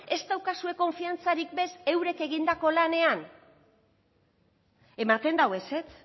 ez daukazue konfiantzarik ere ez eurek egindako lanean ematen du ezetz